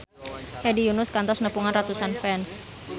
Hedi Yunus kantos nepungan ratusan fans